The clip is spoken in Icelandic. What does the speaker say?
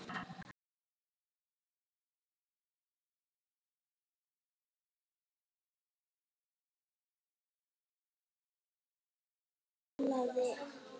Af börnum þeirra komust upp